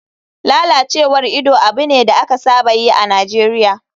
Lalacewar ido abu ne da aka saba yi a nigeria.